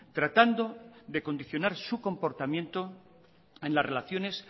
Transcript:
tratando de condicionar su comportamiento en la relaciones